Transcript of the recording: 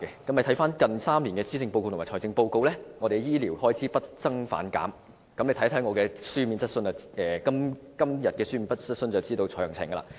翻看近3年的施政報告和財政預算案，我們的醫療開支不增反減，大家看看我今天提出的書面質詢便可知道詳情。